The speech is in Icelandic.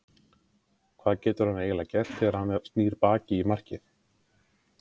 Hvað getur hann eiginlega gert þegar að hann snýr baki í markið?